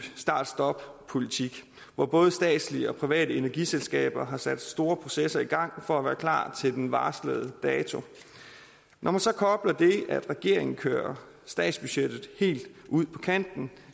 start stop politik hvor både statslige og private energiselskaber har sat store processer i gang for at være klar til den varslede dato når man så kobler det at regeringen kører statsbudgettet helt ud på kanten